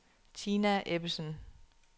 Tina Ebbesen